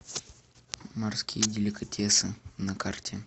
морские деликатесы на карте